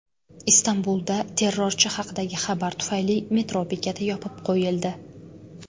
Istanbulda terrorchi haqidagi xabar tufayli metro bekati yopib qo‘yildi.